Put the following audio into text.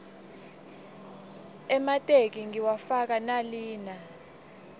emateki ngiwafaka nalina